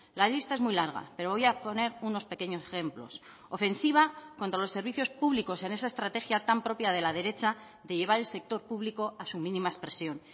la lista es muy larga pero voy a poner unos pequeños ejemplos ofensiva contra los servicios públicos en esa estrategia tan propia de la derecha de llevar el sector público a su mínima expresión